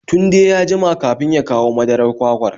Tunde ya jima kafin ya kawo madarar kwakwar